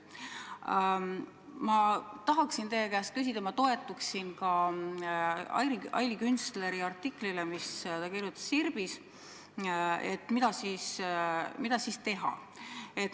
Ma tahaksin teie käest küsida – ma toetuksin Aili Künstleri artiklile, mis ta Sirbis kirjutas –, et mida siis teha.